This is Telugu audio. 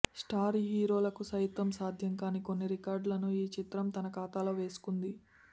స్టార్ హీరోలకు సైతం సాధ్యం కాని కొన్ని రికార్డులను ఈ చిత్రం తన ఖాతాలో వేసుకుంది